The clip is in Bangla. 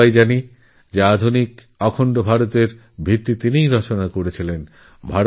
আমরা সবাই জানি অখণ্ড আধুনিক ভারতের পরিকল্পনা তিনিই রচনা করেছিলেন